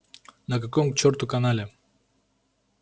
на каком к чёрту канале